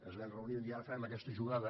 ens vam reunir i vam dir ara farem aquesta jugada